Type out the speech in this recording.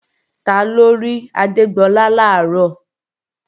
Taló rí Adégbọlá làárọ̀?